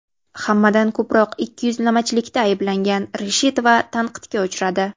Hammadan ko‘proq ikkiyuzlamachilikda ayblangan Reshetova tanqidga uchradi.